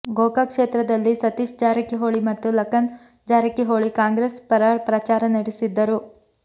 ಗೋಕಾಕ್ ಕ್ಷೇತ್ರದಲ್ಲಿ ಸತೀಶ್ ಜಾರಕಿಹೊಳಿ ಮತ್ತು ಲಖನ್ ಜಾರಕಿಹೊಳಿ ಕಾಂಗ್ರೆಸ್ ಪರ ಪ್ರಚಾರ ನಡೆಸಿದ್ದರು